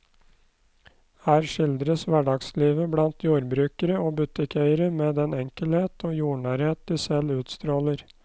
Her skildres hverdagslivet blant jordbrukere og butikkeiere med den enkelhet og jordnærhet de selv utstråler.